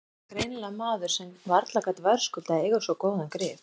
Hann var greinilega maður sem varla gat verðskuldað að eiga svo góðan grip.